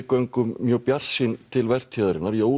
göngum mjög bjartsýn til vertíðarinnar